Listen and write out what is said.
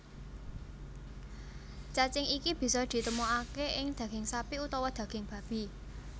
Cacing iki bisa ditemokaké ing daging sapi utawa daging babi